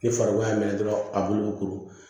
Ni farikolo y'a minɛ dɔrɔn a bulu bi kuru